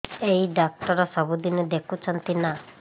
ଏଇ ଡ଼ାକ୍ତର ସବୁଦିନେ ଦେଖୁଛନ୍ତି ନା